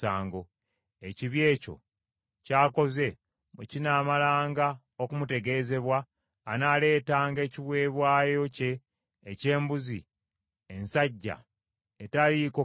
Ekibi ekyo ky’akoze bwe kinaamalanga okumutegeezebwa, anaaleetanga ekiweebwayo kye eky’embuzi ensajja etaliiko kamogo.